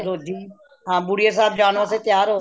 ਰੋਜੀ ਹਾਂ ਕੁਟੀਆ ਸਾਹਿਬ ਜਾਣ ਵਾਸਤੇ ਤਿਆਰ ਹੋ